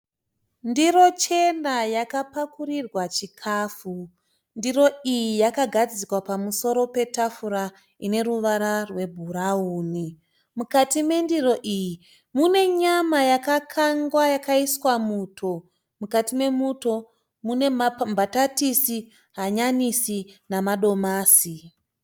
Ndirochena yakapakurirwa chikafu. Ndiro iyi yakagadzikwa pamusoro petafura ine ruvara rwebhurauni. Mukati mendiro iyi mune nyama yakakangwa yakaiswa muto. Mukati memuto mune mbatatisi, hanyanisi namadomasi.